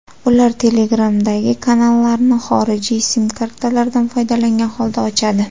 Ular Telegramdagi kanallarni xorijiy sim-kartalardan foydalangan holda ochadi.